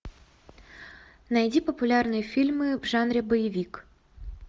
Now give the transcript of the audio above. найди популярные фильмы в жанре боевик